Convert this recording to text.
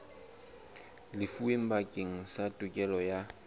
lefuweng bakeng sa tokelo ya